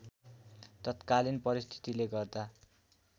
तत्कालीन परिस्थितिले गर्दा